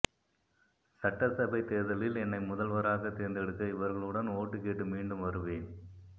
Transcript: சட்டசபை தேர்தலில் என்னை முதல்வராக தேர்ந்தெடுக்க இவர்களுடன் ஓட்டு கேட்டு மீண்டும் வருவேன்